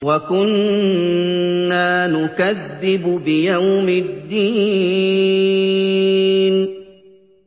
وَكُنَّا نُكَذِّبُ بِيَوْمِ الدِّينِ